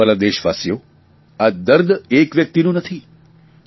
મારા વ્હાલા દેશવાસીઓ આ દર્દ એક વ્યકિતનું નથી